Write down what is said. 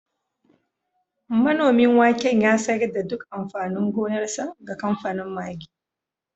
Manomin waken ya sayar da duk amfanin gonarsa ga kamfanin Maggi